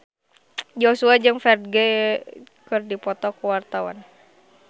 Joshua jeung Ferdge keur dipoto ku wartawan